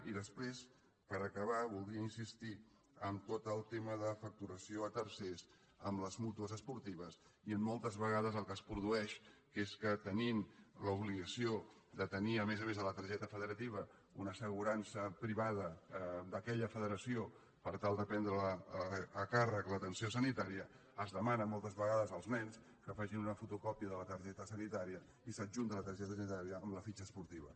i després per acabar voldria insistir en tot el tema de facturació a tercers en les mútues esportives i en moltes vegades el que es produeix que és que tenint l’obligació de tenir a més a més de la targeta federativa una assegurança privada d’aquella federació per tal de prendre a càrrec l’atenció sanitària es demana moltes vegades als nens que facin una fotocòpia de la targeta sanitària i s’adjunta la targeta sanitària a la fitxa esportiva